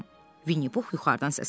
Vinni Pux yuxarıdan səsləndi.